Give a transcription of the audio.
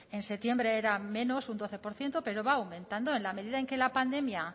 en septiembre era menos un doce por ciento pero va aumentando en la medida en que la pandemia